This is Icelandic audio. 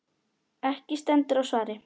Ekki stendur á svari.